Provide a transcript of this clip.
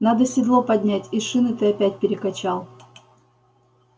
надо седло поднять и шины ты опять перекачал